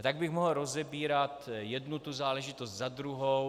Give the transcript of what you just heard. A tak bych mohl rozebírat jednu tu záležitost za druhou.